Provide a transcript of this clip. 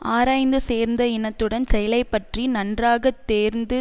ஆராய்ந்து சேர்ந்த இனத்துடன் செயலை பற்றி நன்றாக தேர்ந்து